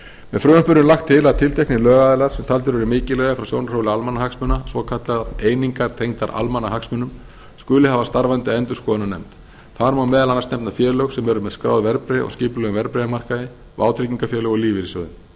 með frumvarpinu er lagt til að tilteknir lögaðilar sem taldir eru mikilvægir frá sjónarhóli almannahagsmuna svokallaðar einingar tengdar almannahagsmunum skuli hafa starfandi endurskoðunarnefnd þar má meðal annars nefna félög sem eru með skráð verðbréf á skipulögðum verðbréfamarkaði vátryggingafélög og lífeyrissjóði